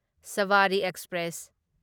Sabari express